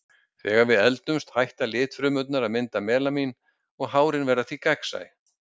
Þegar við eldumst hætta litfrumurnar að mynda melanín og hárin verða þá gegnsæ.